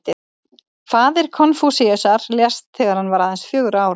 Faðir Konfúsíusar lést þegar hann var aðeins fjögurra ára.